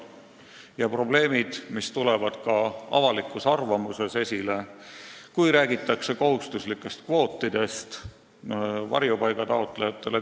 Need probleemid tulevad esile ka avalikus arvamuses, kui räägitakse näiteks kohustuslikest kvootidest varjupaigataotlejatele.